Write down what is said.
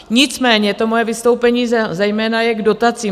Nicméně to moje vystoupení zejména je k dotacím.